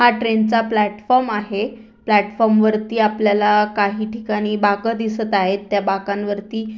हा ट्रेन चा प्लॅटफॉर्म आहे प्लॅटफॉर्म वरती आपल्याला काही ठिकाणी बाकं दिसत आहेत त्या बाकां वरती--